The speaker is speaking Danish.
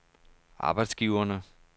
arbejdsgiverne